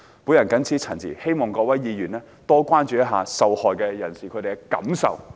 我謹此陳辭，希望各位議員多多關注受害人士的感受。